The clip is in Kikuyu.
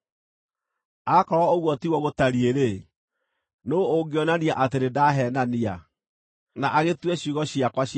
“Akorwo ũguo tiguo gũtariĩ-rĩ, nũũ ũngĩonania atĩ nĩndaheenania, na agĩtue ciugo ciakwa cia tũhũ?”